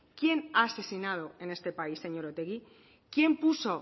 quién ha asesinado en este país señor otegi quién puso